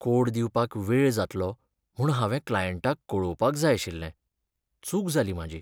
Code दिवपाक वेळ जात्लो म्हूण हांवें क्लायंटाक कळोवपाक जाय आशिल्लें, चूक जाली म्हाजी.